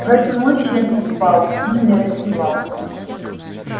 в эту ночь я не спал и не раздевался